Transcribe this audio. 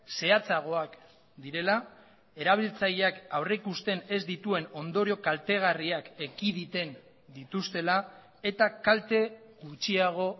zehatzagoak direla erabiltzaileak aurrikusten ez dituen ondorio kaltegarriak ekiditen dituztela eta kalte gutxiago